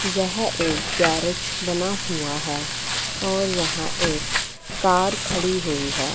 यह एक गेरेज बना हुआ है और यहां एक कार खड़ी हुई है।